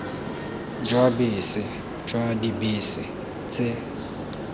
jwa bese jwa dibese tse